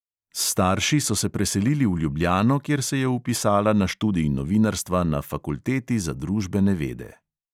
S starši so se preselili v ljubljano, kjer se je vpisala na študij novinarstva na fakulteti za družbene vede.